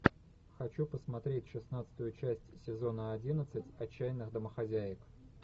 хочу посмотреть шестнадцатую часть сезона одиннадцать отчаянных домохозяек